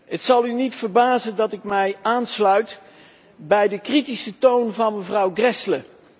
Het zal u niet verbazen dat ik mij aansluit bij de kritische toon van mevrouw Gräβle.